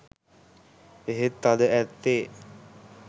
එහෙත් අද ඇත්තේ